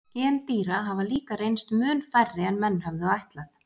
Gen dýra hafa líka reynst mun færri en menn höfðu ætlað.